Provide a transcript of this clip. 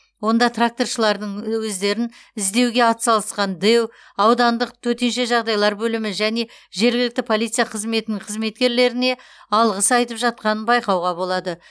онда тракторшылардың өздерін іздеуге атсалысқан дэу аудандық төтенше жағдайлар бөлімі және жергілікті полиция қызметінің қызметкерлеріне алғыс айтып жатқанын байқауға болады